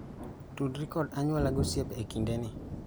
Tudri kod anyuola gosiepe ekindeni.